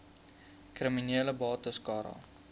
kriminele bates cara